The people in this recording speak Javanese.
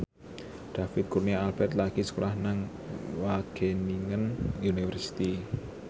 David Kurnia Albert lagi sekolah nang Wageningen University